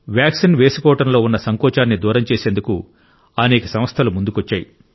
vaccine వేసుకోవడం లో ఉన్న సంకోచాన్ని దూరం చేసేందుకు అనేక సంస్థలు ముందుకొచ్చాయి